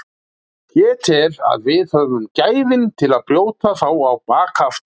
Ég tel að við höfum gæðin til að brjóta þá á bak aftur.